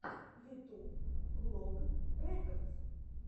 ютуб влог рекодс